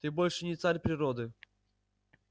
ты больше не царь природы